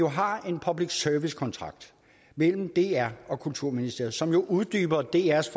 har en public service kontrakt mellem dr og kulturministeriet som uddyber drs